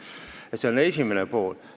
See on vastuse esimene pool.